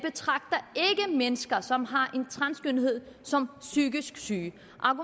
mennesker som har en transkønnethed som psykisk syge